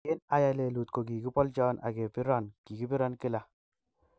Kin ayai lelut ko kigipoljon ak kepiron, kigipiron kila.